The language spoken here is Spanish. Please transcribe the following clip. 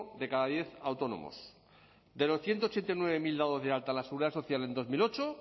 de cada diez autónomos de los ciento ochenta y nueve mil dados de alta en la seguridad social en dos mil ocho